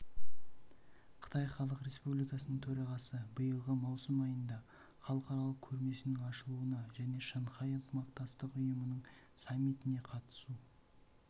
қытай халық республикасының төрағасы биылғы маусым айында халықаралық көрмесінің ашылуына және шанхай ынтымақтастық ұйымының саммитіне қатысу